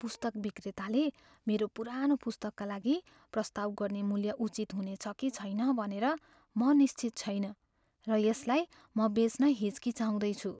पुस्तक विक्रेताले मेरो पुरानो पुस्तकका लागि प्रस्ताव गर्ने मूल्य उचित हुनेछ कि छैन भनेर म निश्चित छैन, र यसलाई म बेच्न हिचकिचाउँदैछु।